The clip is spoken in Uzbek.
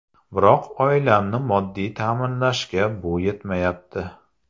Biroq oilamni moddiy ta’minlashga bu yetmayapti.